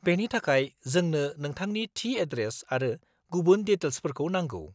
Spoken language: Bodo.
बेनि थाखाय, जोंनो नोंथांनि थि एड्रेस आरो गुबुन डिटेल्सफोरखौ नांगौ।